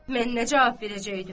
Mən nə cavab verəcəkdim?